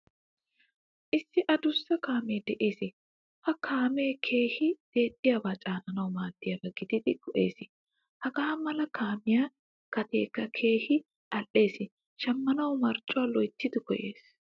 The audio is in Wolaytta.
Issi addusaa kaame de'ees. Ha kaame keehin dexiyaba caananawu maaddiyaba gididi go'ees. Hagaa mala kaamiyaa gatekka keehin al'ees. Shammanawu marccuwaa loyttidi koyees.